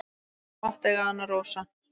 Þú mátt eiga hana, Rósa.